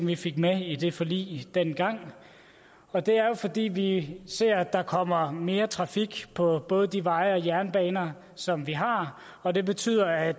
vi fik med i det forlig dengang og det er jo fordi vi ser at der kommer mere trafik på både de veje og de jernbaner som vi har og det betyder at